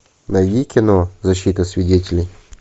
найди кино защита свидетелей